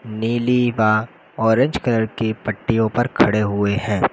नीली बा orange colour की पट्टीयों पर खड़े हुए हैं।